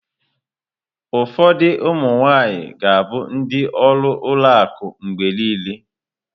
Ụfọdụ ụmụ nwaanyị ga-abụ ndị ọrụ ụlọ akụ mgbe niile.